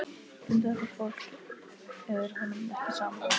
Um þetta fólk er honum ekki sama.